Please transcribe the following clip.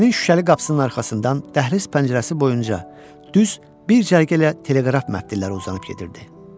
Kupenin şüşəli qapısının arxasından dəhliz pəncərəsi boyunca düz bir cərgə lə teleqraf məftilləri uzanıb gedirdi.